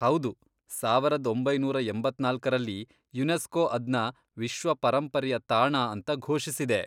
ಹೌದು, ಸಾವರದ್ ಒಂಬೈನೂರ ಎಂಬತ್ನಾಲ್ಕರಲ್ಲಿ ಯುನೆಸ್ಕೋ ಅದ್ನ ವಿಶ್ವ ಪರೆಂಪರೆಯ ತಾಣ ಅಂತ ಘೋಷಿಸಿದೆ.